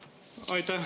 Aitäh!